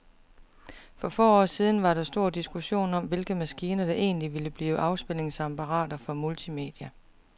For få år siden var der stor diskussion om, hvilke maskiner, der egentlig ville blive afspilningsapparater for multimedia.